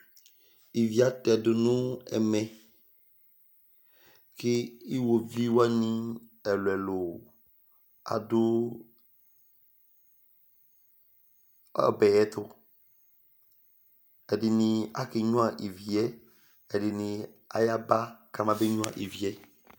Íví atɛdu nʋ ɛmɛ kʋ ʋwovi wani ɛlu ɛlu adu ɔbɛ yɛ tu Ɛdiní ake nyʋa yɛ, ɛdiní ayaba kama ba nyʋa ívì yɛ